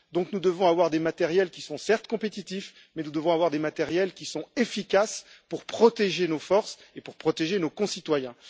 Par conséquent, nous devons avoir des matériels qui sont, certes, compétitifs, mais nous devons avoir des matériels qui sont efficaces pour protéger nos forces et pour protéger nos concitoyens.